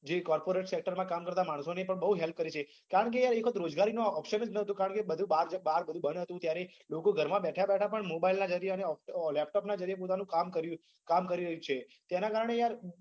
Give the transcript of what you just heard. જે Thakor and center માં કામ કરતા માણસો ને પણ બહુ help કરી છે. કારણ કે યાર એ રોજગારી નો option જ નતો કારણ કે બધું બાર બધું બંધ હતું ત્યારે લોકો ઘર માં બેઠા બેઠા પણ mobile ના જરીયા અને laptop ના જરીયે પોતાનું કામ કર્યું કામ કરી રહ્યું છે તેના કારણે યાર